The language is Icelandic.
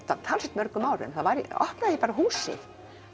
talsvert mörgum árum þá opnaði ég bara húsið